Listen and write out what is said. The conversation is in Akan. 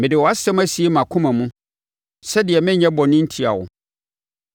Mede wʼasɛm asie mʼakoma mu sɛdeɛ merenyɛ bɔne ntia wo.